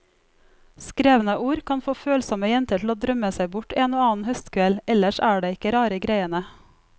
Skrevne ord kan få følsomme jenter til å drømme seg bort en og annen høstkveld, ellers er det ikke rare greiene.